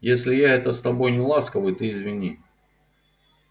если я это с тобой неласковый ты извини